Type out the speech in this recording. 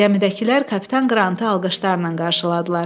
Gəmidəkilər Kapitan Qrantı alqışlarla qarşıladılar.